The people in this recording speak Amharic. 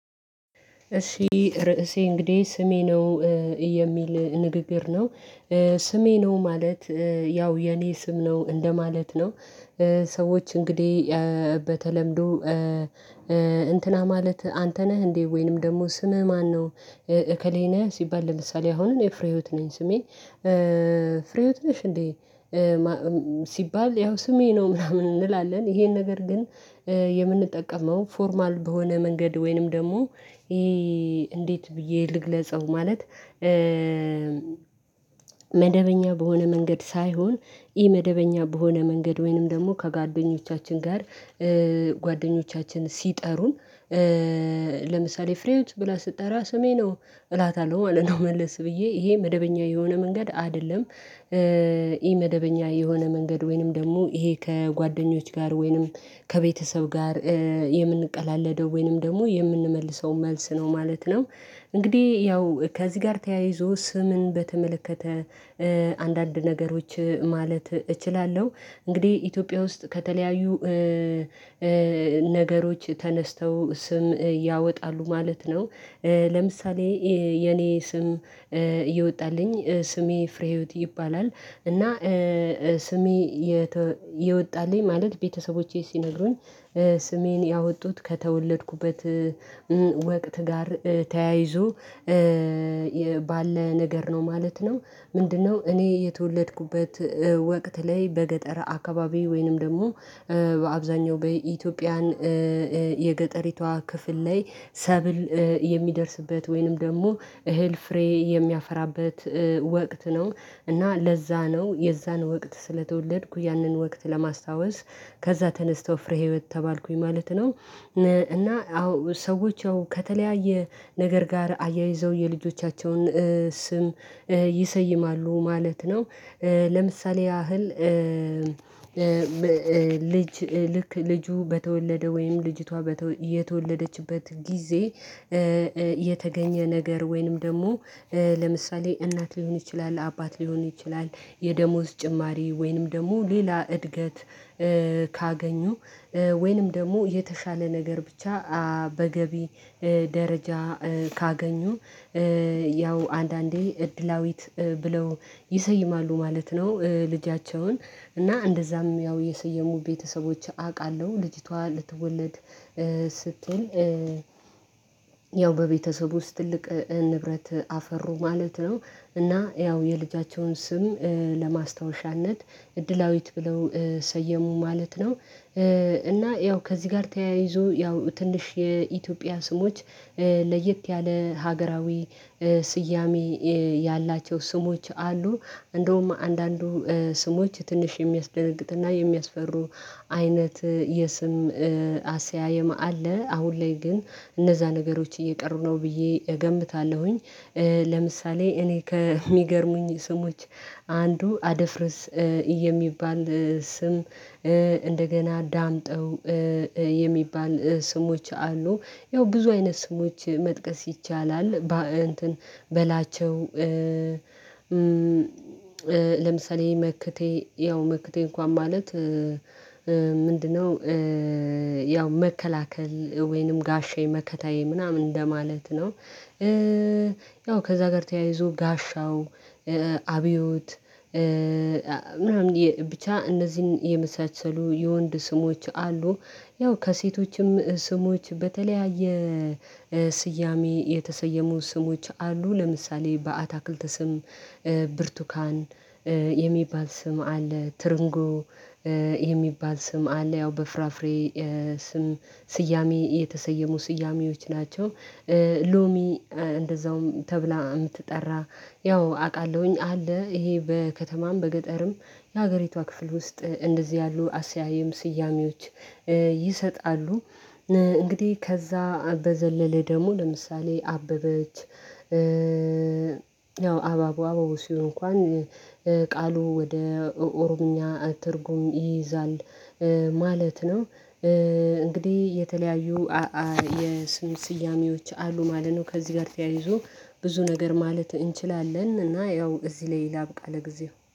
እሺ ርዕሴ እንግዲህ ስሜ ነው የሚል ንግግር ነው። ስሜ ነው ማለት ያው የኔ ስም ነው እንደማለት ነው። ሰዎች እንግዲህ በተለምዶ "እንትና ማለት አንተ ነህ እንዴ?" ወይንም ደግሞ ስምህ ማነው "እከሌ ነህ?" ሲባል ለምሳሌ አሁን እኔ ፍሬህይወት ነኝ ስሜ፤ "ፍሬህይወት ነሽ እንዴ?" ሲባል፤ ያው ስሜ ነው ምናምን እንላለን ይሄን ነገር ግን የምንጠቀመው ፎርማል በሆነ መንገድ ወይንም ደግሞ ይሄ እንዴት ብዬ ልግለጸው ማለት መደበኛ በሆነ መንገድ ሳይሆን ኢ-መደበኛ በሆነ መንገድ ወይንም ደግሞ ከጓደኞቻችን ጋር ጓደኞቻችን ሲጠሩን ለምሳሌ "ፍሬህይወት" ብላ ስትጠራ "ስሜ ነው" እላታለሁ ማለት ነው መለስ ብዬ፤ ይሄ መደበኛ የሆነ መንገድ አይደለም ኢ-መደበኛ የሆነ መንገድ ወይንም ደግሞ ይሄ ከጓደኞች ጋር ወይንም ከቤተሰብ ጋር የምንቀላለደው ወይንም ደግሞ የምንመልሰው መልስ ነው ማለት ነው። እንግዲህ ያው ከዚህ ጋር ተያይዞ ስምን በተመለከተ አንዳንድ ነገሮች ማለት እችላለሁ። እንግዲህ ኢትዮጵያ ውስጥ ከተለያዩ ነገሮች ተነስተው ስም ያወጣሉ ማለት ነው። ለምሳሌ የኔ ስም እየወጣልኝ ስሜ ፍሬህይወት ይባላል፤ እና ስሜ የተ የወጣልኝ ማለት ቤተሰቦቼ ሲነግሩኝ ስሜን ያወጡት ከተወለድኩበት ወቅት ጋር ተያይዞ ባለ ነገር ነው ማለት ነው። ምንድነው እኔ የተወለድኩበት ወቅት ላይ በገጠር አካባቢ ወይንም ደግሞ በአብዛኛው በኢትዮጵያን የገጠሪቷ ክፍል ላይ ሰብል የሚደርስበት ወይንም ደግሞ እህል ፍሬ የሚያፈራበት ወቅት ነው፤ እና ለዛ ነው የዛን ወቅት ስለተወለድኩ ያንን ወቅት ለማስታወስ ከዛ ተነስተው ፍሬህይወት ተባልኩኝ ማለት ነው፤ እና አዎ ሰዎች ያው ከተለያየ ነገር ጋር አያይዘው የልጆቻቸውን ስም ይሰይማሉ ማለት ነው። ለምሳሌ ያህል ልጅ ልክ ልጁ በተወለደ ወይም ልጅቷ በተወ የተወለደችበት ጊዜ የተገኘ ነገር ወይንም ደግሞ ለምሳሌ እናት ሊሆን ይችላል፤ አባት ሊሆን ይችላል፤ የደሞዝ ጭማሪ ወይንም ደግሞ ሌላ እድገት ካገኙ ወይንም ደግሞ የተሻለ ነገር ብቻ በገቢ ደረጃ ካገኙ ያው አንዳንዴ እድላዊት ብለው ይሰይማሉ ማለት ነው ልጃቸውን፤ እና እንደዛም ያው የሰየሙ ቤተሰቦች አውቃለሁ ልጅቷ ልትወለድ ስትል ያው በቤተሰብ ውስጥ ትልቅ ንብረት አፈሩ ማለት ነው፤ እና ያው የልጃቸውን ስም ለማስታወሻነት እድላዊት ብለው ሰየሙ ማለት ነው። እና ያው ከዚህ ጋር ተያይዞ ያው ትንሽ የኢትዮጵያ ስሞች ለየት ያለ ሀገራዊ ስያሜ ያላቸው ስሞች አሉ። እንደውም አንዳንዱ ስሞች ትንሽ የሚያስደነግጥና የሚያስፈሩ አይነት የስም አሰያየም አለ፤ አሁን ላይ ግን እነዛ ነገሮች እየቀሩ ነው ብዬ እገምታለሁኝ። ለምሳሌ እኔ ከሚገርሙኝ ስሞች አንዱ አደፍርስ የሚባል ስም እንደገና ዳምጠው የሚባል ስሞች አሉ። ያው ብዙ አይነት ስሞች መጥቀስ ይቻላል። በላቸው፣ ለምሳሌ መክቴ፣ ያው መክቴ እንኳን ማለት ምንድነው ያው መከላከል ወይንም ጋሻዬ መከታዬ ምናምን እንደማለት ነው። ያው ከዛ ጋር ተያይዞ ጋሻው አብዮት ምናምን ብቻ እነዚህን የመሳሰሉ የወንድ ስሞች አሉ። ያው ከሴቶችም ስሞች በተለያየ ስያሜ የተሰየሙ ስሞች አሉ። ለምሳሌ በአታክልት ስም ብርቱካን የሚባል ስም አለ። ትርንጎ የሚባል ስም አለ ያው በፍራፍሬ ስም ስያሜ የተሰየሙ ስያሜዎች ናቸው። ሎሚ እንደዛውም ተብላ የምትጠራ ያው አውቃለሁኝ አለ ይሄ በከተማም በገጠርም የሀገሪቷ ክፍል ውስጥ እንደዚህ ያሉ አሰያይም ስያሜዎች ይሰጣሉ። እንግዲህ ከዛ በዘለለ ደሞ ለምሳሌ አበበች፣ ያው አባቡ አባቡ ሲሆን እንኳን ቃሉ ወደ ኦሮምኛ ትርጉም ይይዛል ማለት ነው። እንግዲህ የተለያዩ የስም ስያሜዎች አሉ ማለት ነው ከዚህ ጋር ተያይዞ ብዙ ነገር ማለት እንችላለን፤ እና ያው እዚህ ላይ ላብቃ ለጊዜው።